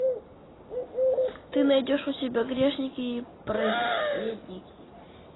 ты найдешь у себя грешники и праведники